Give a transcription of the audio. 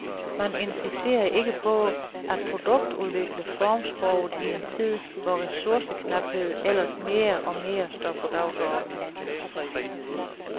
Man insisterer ikke på at produktudvikle formsproget i en tid, hvor ressourceknaphed ellers mere og mere står på dagsordenen.